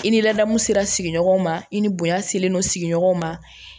I ni ladamu sera sigiɲɔgɔnw ma i ni bonya selen non sigiɲɔgɔnw ma